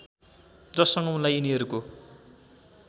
जससँग उनलाई यिनीहरूको